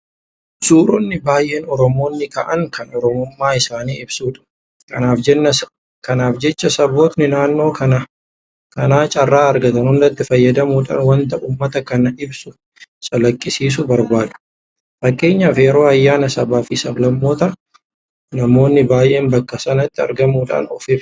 Suuronni baay'een Oromoonni ka'an kan Oromummaa isaanii ibsudha. Kanaaf jecha sabboontonni naannoo kanaa carraa argatan hundatti fayyadamuudhaan waanta uummata kana ibsu calaqqisiisuu barbaadu. Fakkeenyaaf yeroo ayyaana sabaafi sablammootaa namoonni baay'een bakka sanatti argamuudhaan of ibsu.